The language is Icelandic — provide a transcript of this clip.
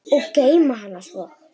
Og geyma hana svo.